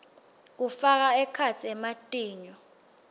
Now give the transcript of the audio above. kufaka ekhatsi ematinyo